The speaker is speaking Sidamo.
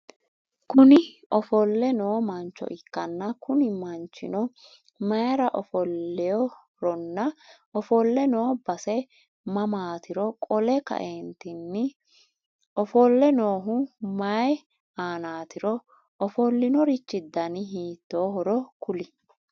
Kuni ofolle noo mancho ikkanna Kuni manchino maayira ofoleeworonna ofolle noo base mamaatiro qole kaantinni ofolle noohu maayii aanaatiro ofolinorichi Dani hiitoohoro kuli?